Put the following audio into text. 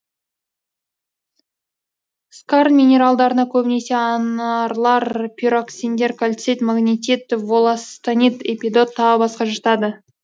скарн минералдарына көбінесе анарлар пироксендер кальцит магнетит волластонит эпидот тағы басқа жатады